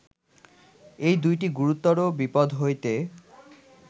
এই দুইটি গুরুতর বিপদ্ হইতে